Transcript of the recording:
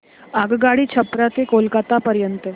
आगगाडी छपरा ते कोलकता पर्यंत